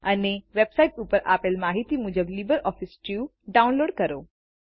અને વેબ્સાઈટ ઉપર આપેલ માહિતી મુજબ લીબરઓફીસ સ્યુટ ડાઉનલોડ કરો